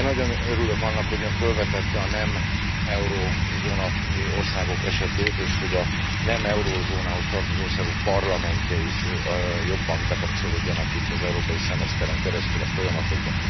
Én nagyon örülök annak, hogy Ön fölvetette a nem euróövezeti országok esetét, és hogy a nem euróövezethez tartozó országok parlamentjei is jobban bekapcsolódjanak itt az európai szemeszteren keresztül a folyamatokba.